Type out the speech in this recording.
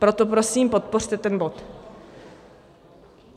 Proto prosím podpořte ten bod.